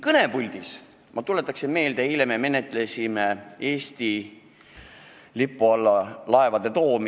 Tuletan vahepeal meelde, eile me menetlesime siinsamas laevade Eesti lipu alla toomise seaduse eelnõu.